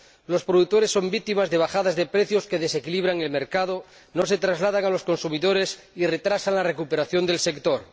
Los productores son víctimas de bajadas de precio que desequilibran el mercado, no se trasladan a los consumidores y retrasan la recuperación del sector.